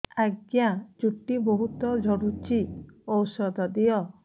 ଆଜ୍ଞା ଚୁଟି ବହୁତ୍ ଝଡୁଚି ଔଷଧ ଦିଅ